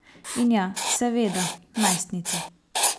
In ja, seveda, najstnice.